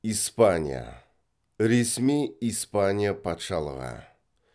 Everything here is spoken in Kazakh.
испания ресми испания патшалығы